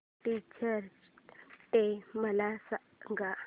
teachers day मला सांग